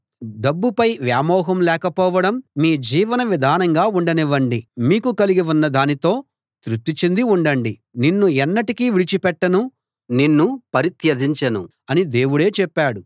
డబ్బుపై వ్యామోహం లేకపోవడం మీ జీవన విధానంగా ఉండనివ్వండి మీకు కలిగి ఉన్న దానితో తృప్తి చెంది ఉండండి నిన్ను ఎన్నటికీ విడిచి పెట్టను నిన్ను పరిత్యజించను అని దేవుడే చెప్పాడు